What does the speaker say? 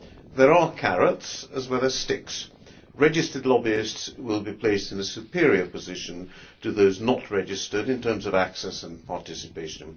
There are carrots as well as sticks. Registered lobbyists will be placed in a superior position to those not registered in terms of access and participation.